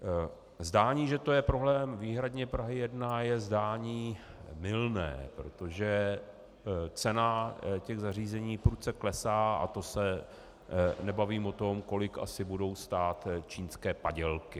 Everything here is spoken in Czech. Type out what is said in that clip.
Zdání, že to je problém výhradně Prahy 1, je zdání mylné, protože cena těch zařízení prudce klesá, a to se nebavím o tom, kolik asi budou stát čínské padělky.